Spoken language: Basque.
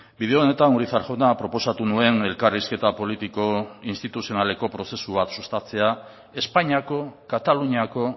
bide honetan urizar jauna proposatu nuen elkarrizketa politiko instituzionaleko prozesu bat sustatzea espainiako kataluniako